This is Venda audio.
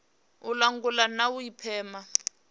u langula na u pima